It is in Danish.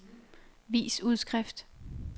vis udskrift